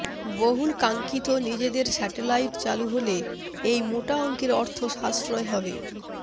বহুলকাঙ্ক্ষিত নিজেদের স্যাটেলাইট চালু হলে এই মোটা অংকের অর্থ সাশ্রয় হবে